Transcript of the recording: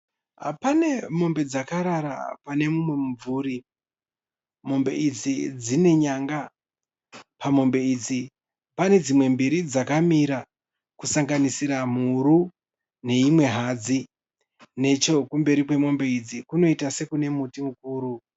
Pane mombe dzakarara pane mumwe mumvuri. Mombe idzi dzine nyanga. Pamombe idzi pane dzimwe mbiri dzakamira kusanganisira mhuru neimwe hadzi. Nechekumberi kwemombe idzi kunoita sokune muti mukuru.